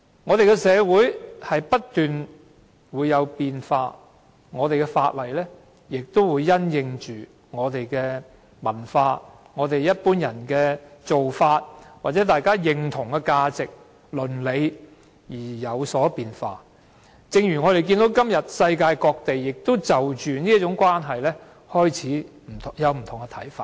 我們的社會不斷變化，而我們的法例亦會因應我們的文化、一般人的做法或大家認同的價值和倫理而有所變化，正如我們看到如今世界各地均對這種關係開始有不同看法。